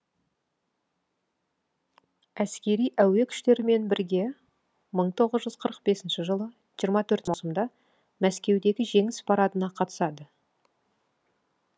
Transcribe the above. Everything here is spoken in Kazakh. әскери әуе күштерімен бірге мың тоғыз жүз қырық бесінші жылы жиырма төрт маусымда мәскеудегі жеңіс парадына қатысады